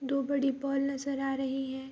दो बड़ी पोल नजर आ रही है।